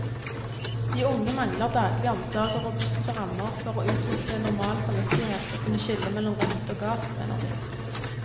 De unge mangler daglig omsorg og robuste rammer for å utvikle normal samvittighet og kunne skille mellom rett og galt, mener de.